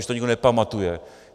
Už to nikdo nepamatuje.